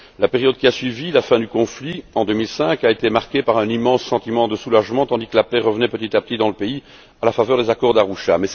La période qui a suivi la fin du conflit, en 2005, a été marquée par un immense sentiment de soulagement tandis que la paix revenait petit à petit dans le pays à la faveur des accords d'Arusha.